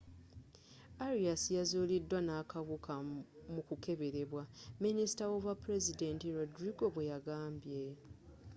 arias yazulidwa nakawuka mu kukeberebwa minisita w'obwapulezidenti rodrigo bweyagambye